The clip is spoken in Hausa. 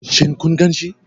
Shin kun ganshi?